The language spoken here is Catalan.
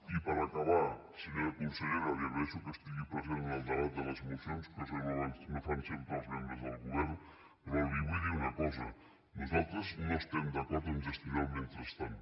i per acabar senyora consellera li agraeixo que estigui present en el debat de les mocions cosa que no fan sempre els membres del govern però li vull dir una cosa nosaltres no estem d’acord amb gestionar el mentrestant